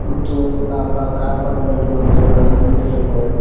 ಮತ್ತು ಆ ಪಾ ಕಾರ್ ಪಕ್ಕದಲ್ಲಿ ಒಂದು ಬೈಕ್ ನಿಂತಿರುತ್ತದೆ.